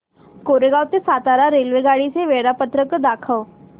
कोरेगाव ते सातारा रेल्वेगाडी चे वेळापत्रक दाखव